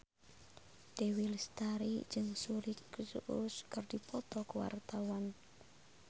Dewi Lestari jeung Suri Cruise keur dipoto ku wartawan